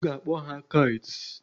A ga-akpọ ha Kites.